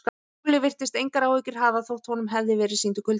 Lúlli virtist engar áhyggjur hafa þótt honum hefði verið sýndur kuldi.